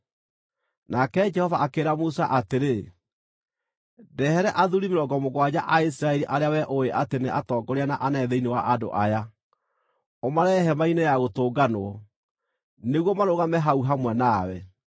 Nake Jehova akĩĩra Musa atĩrĩ: “Ndehere athuuri mĩrongo mũgwanja a Isiraeli arĩa wee ũũĩ atĩ nĩ atongoria na anene thĩinĩ wa andũ aya. Ũmarehe Hema-inĩ-ya-Gũtũnganwo, nĩguo marũgame hau hamwe nawe.